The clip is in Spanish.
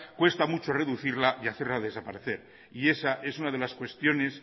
cuesta mucho reducirla y hacerla desaparecer esa es una de las cuestiones